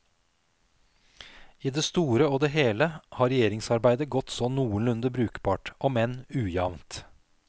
I det store og det heile har regjeringsarbeidet godt så nokonlunde brukbart, om enn ujamt.